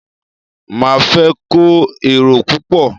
Máa fẹ́ kó èrò púpọ̀.